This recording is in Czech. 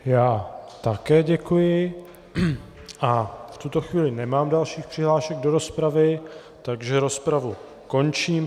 Já také děkuji a v tuto chvíli nemám další přihlášky do rozpravy, takže rozpravu končím.